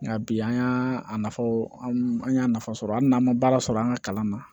Nka bi an y'a nafa fɔ an y'a nafa sɔrɔ hali n'an ma baara sɔrɔ an ka kalan na